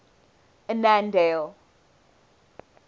annandale